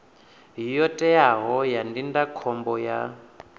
yo teaho ya ndindakhombo ya